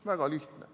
Väga lihtne.